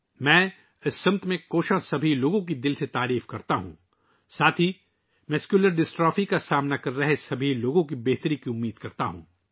میں اس سمت میں کوشش کرنے والے تمام لوگوں کی تہہ دل سے تعریف کرتا ہوں اور ساتھ ہی مسکولر ڈسٹرافی میں مبتلا تمام لوگوں کی صحت یابی کے لئے نیک خواہشات کا اظہار کرتا ہوں